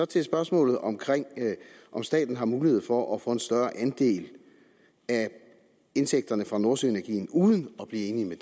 til spørgsmålet om om staten har mulighed for at få en større andel af indtægterne fra nordsøenergien uden at blive enige med